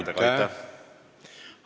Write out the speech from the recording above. Aitäh!